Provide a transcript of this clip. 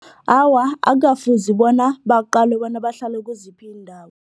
Awa, akukafuzi bona baqalwe ukuthi bahlala kiziphi iindawo.